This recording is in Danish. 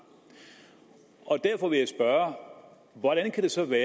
derfor vil jeg spørge hvordan det så kan